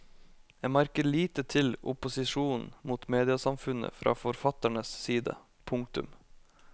En merker lite til opposisjonen mot mediasamfunnet fra forfatternes side. punktum